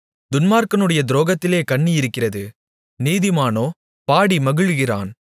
துன்மார்க்கனுடைய துரோகத்திலே கண்ணி இருக்கிறது நீதிமானோ பாடி மகிழுகிறான்